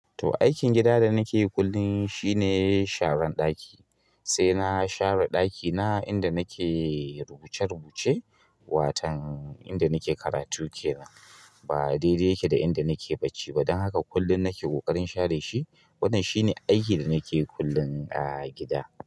To aikin gida da nake yi kullum shine sharan ɗaki. Sai na share ɗaki na inda nake rubuce-rubuce, watan inda nake karatu kenan. Ba daidai yake da inda nake bacci ba. Don haka kullum nake ƙoƙarin share shi. Wannan shi ne aikin da nake yi kullum a gida.